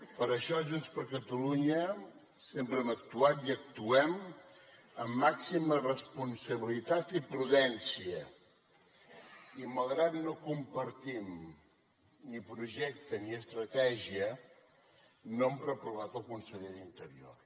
per això junts per catalunya sempre hem actuat i actuem amb màxima responsabilitat i prudència i malgrat que no compartim ni projecte ni estratègia no hem reprovat el conseller d’interior